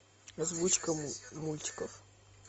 озвучка мультиков